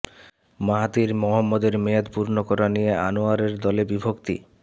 Mahathir মোহাম্মদের মেয়াদ পূর্ণ করা নিয়ে আনোয়ারের দলে বিভক্তি